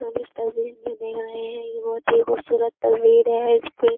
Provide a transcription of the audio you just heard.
हम इस तस्वीर में देख रहे हैं कि बोहोत ही खुबसूरत तस्वीर है। इसपे --